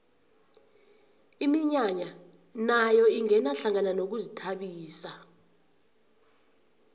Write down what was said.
iminyanya nayo ingena hlangana nokuzithabisa